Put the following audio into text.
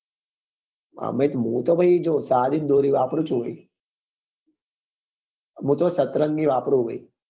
અમે હું તો ભાઈ જો સાદી જ દોરી વાપરું છું